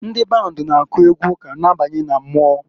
Ndị band na-akụ egwu ụka na-abanye na mmụọ.